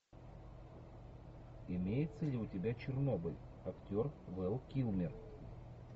имеется ли у тебя чернобыль актер вэл килмер